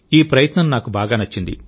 ఈ ప్రయత్నం నాకు బాగా నచ్చింది